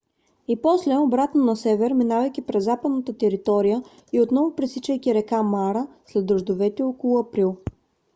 и после обратно на север минавайки през западната територия и отново пресичайки река мара след дъждовете около април